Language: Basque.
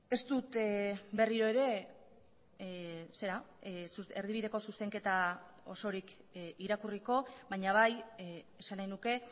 ez dut berriro ere erdibideko zuzenketa osorik irakurriko baina bai esan nahi nuke